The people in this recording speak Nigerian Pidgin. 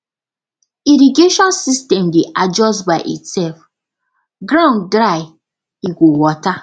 irrigation system dey adjust by itself ground dry e go water